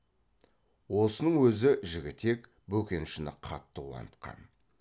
осының өзі де жігітек бөкеншіні қатты қуантқан